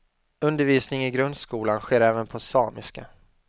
Undervisning i grundskolan sker även på samiska.